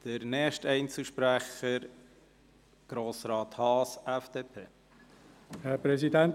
Der nächste Einzelsprecher ist Grossrat Haas, FDP.